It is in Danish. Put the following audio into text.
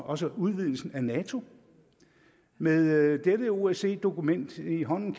også for udvidelsen af nato med dette osce dokument i hånden